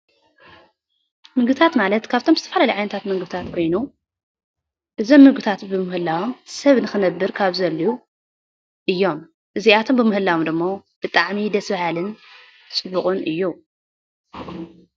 ምግብታት ማለት ካብቶም ዝተፈላለዩ ዓይነታት ምግብታት ኮይኑ እዞም ምግብታት ብምህላዎም ሰብ ንክነብር ካብ ዘድልዩ እዮም፡፡ እዚኣቶም ብምህላዎም ደሞ ብጣዕሚ ደስ በሃሊን ፅቡቅን እዩ፡፡